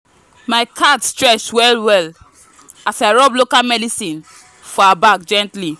my cat stretch well well as i rub local medicine for her back gently.